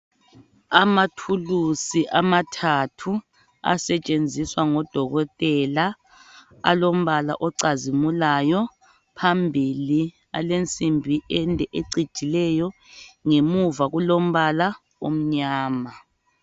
Amathuli amathathu asetshenziswa ngodokotela, alombala ocazimilayo, phambili alensimbi ende ecijileyo. Ngemuva kulombala amnyama.